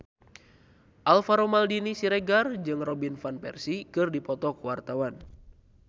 Alvaro Maldini Siregar jeung Robin Van Persie keur dipoto ku wartawan